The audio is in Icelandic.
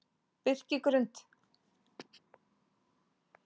Birkigrund